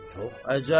Çox əcəb.